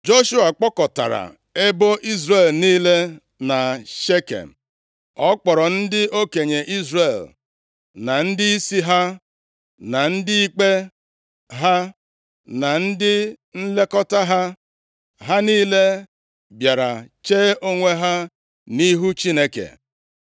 Joshua kpọkọtara ebo Izrel niile na Shekem. Ọ kpọrọ ndị okenye Izrel na ndịisi ha na ndị ikpe ha na ndị nlekọta ha. Ha niile bịara chee onwe ha nʼihu Chineke.